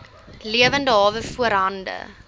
lewende hawe voorhande